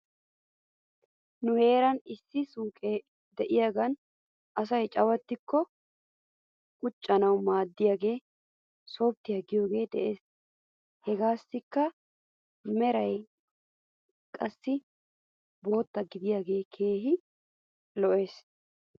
Nu heeran issi suyqee de'iyaagan asay cawattikko qucettanaw maaddiyaagee softtiyaa giyoogee de'es. Hegaassikka meray qassi bootta gididaagee keehi lo'es .